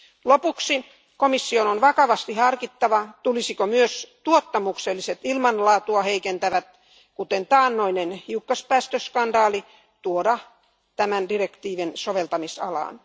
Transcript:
Lopuksi komission on vakavasti harkittava, tulisiko myös tuottamukselliset ilmanlaatua heikentävät toimet, kuten taannoinen hiukkaspäästöskandaali, tuoda tämän direktiivin soveltamisalaan.